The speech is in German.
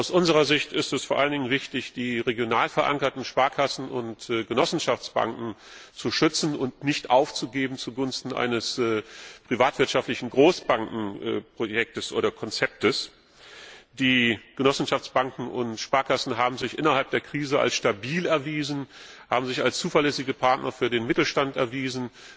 Aus unserer Sicht ist es vor allen Dingen wichtig, die regional verankerten Sparkassen und Genossenschaftsbanken zu schützen und sie nicht zugunsten eines privatwirtschaftlichen Großbankenkonzepts aufzugeben. Die Genossenschaftsbanken und Sparkassen haben sich innerhalb der Krise als stabil erwiesen, haben sich als zuverlässige Partner für den Mittelstand erwiesen.